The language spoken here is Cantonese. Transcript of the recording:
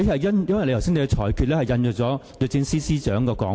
因為你剛才的裁決引述了律政司司長的說法。